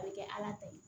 A bɛ kɛ ala ta ye